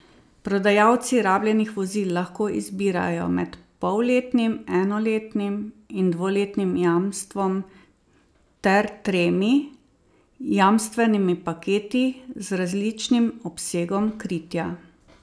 Prodajalci rabljenih vozil lahko izbirajo med polletnim, enoletnim in dvoletnim jamstvom ter tremi jamstvenimi paketi z različnim obsegom kritja.